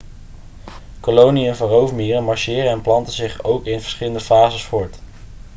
koloniën van roofmieren marcheren en planten zich ook in verschillende fases voort